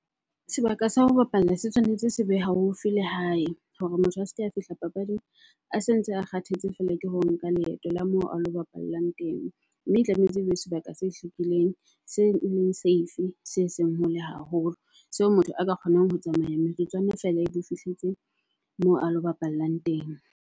Sebaka sa ho bapalla se tshwanetse se be haufi le hae hore motho a se ke a fihla papading a se ntse a kgathetse feela ke ho nka leeto la moo alo bapallang teng. Mme tlametse ebe sebaka se hlwekileng, se leng safe, se seng hole haholo. Seo motho a ka kgonang ho tsamaya metsotswane feela ebe o fihletse moo alo bapallang teng.